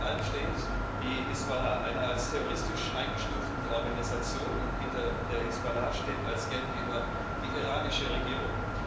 Hinter allem steht die Hisbollah, eine als terroristisch eingestufte Organisation, und hinter der Hisbollah steht als Geldgeber die iranische Regierung.